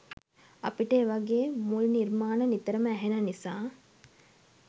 අපිට එවගේ මුල් නිර්මාණ නිතරම ඇහෙන නිසා